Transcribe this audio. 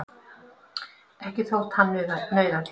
Ekki þótt hann nauðaði.